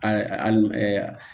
A